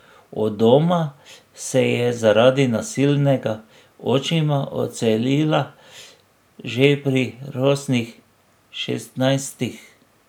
Od doma se je zaradi nasilnega očima odselila že pri rosnih šestnajstih.